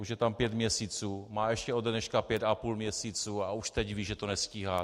Už je tam pět měsíců, má ještě ode dneška pět a půl měsíce a už teď ví, že to nestíhá.